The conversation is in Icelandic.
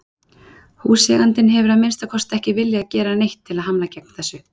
Húseigandinn hefur að minnsta kosti ekki viljað gera neitt til að hamla gegn þessu.